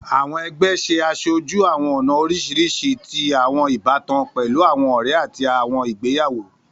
Àwọn ẹgbẹ ṣe aṣoju àwọn ọna oriṣiriṣi ti àwọn ibatan, pẹlu àwọn ọrẹ ati àwọn igbeyawo.